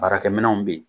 Baarakɛminɛnw bɛ ye